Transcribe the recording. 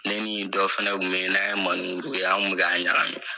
Ne ni dɔ fɛnɛ kun bɛ ye n'an ye monin kuru kɛ an kun bɛ ka ɲagamin.